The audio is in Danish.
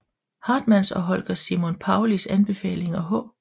Hartmanns og Holger Simon Paullis anbefaling H